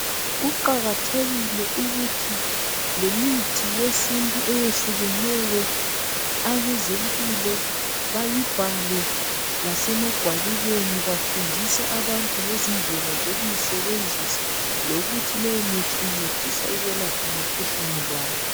Kuqakathekile ukuthi lemithi yesintu eyehlukeneyo abezempilo bayibhale lasemagwalibeni bafundisa abantu ngezindlela zokuyisebenzisa lukthi leyo mithi incedisa ukwelapha mikhuhlane bani.